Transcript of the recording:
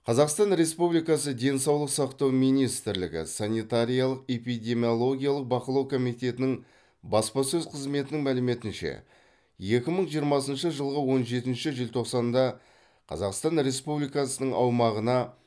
қазақстан республикасы денсаулық сақтау министрлігі санитариялық эпидемиологиялық бақылау комитетінің баспасөз қызметінің мәліметінше екі мың жиырмасыншы жылғы он жетінші желтоқсанында қазақстан республикасының аумағына